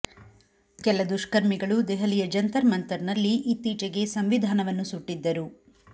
ಕೆಲ ದುಷ್ಕರ್ಮಿಗಳು ದೆಹಲಿಯ ಜಂತರ್ ಮಂತರ್ ನಲ್ಲಿ ಇತ್ತೀಚೆಗೆ ಸಂವಿಧಾನವನ್ನು ಸುಟ್ಟಿದ್ದರು